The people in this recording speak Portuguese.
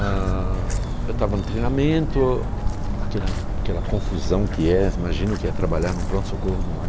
Ãh... Eu estava no treinamento, aquela aquela confusão que é, imagina o que é trabalhar em um pronto-socorro, em um